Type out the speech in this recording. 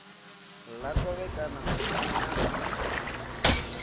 ḽa khovhekano hu si na